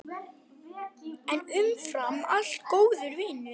En umfram allt góður vinur.